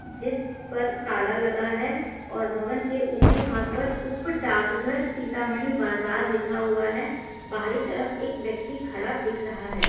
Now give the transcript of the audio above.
जिस पर ताला लगा है और भवन के ऊपरी भाग पर उप डाकघर सीतामढ़ी बाजार लिखा हुआ है बाहरी तरफ एक व्यक्ति खड़ा दिख रहा है।